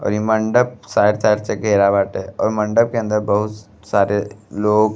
और ई मंडप चारों तरफ से घेरा बाटे और मंडप के अंदर बहुत सारे लोग --